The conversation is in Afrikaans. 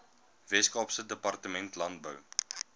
weskaapse departement landbou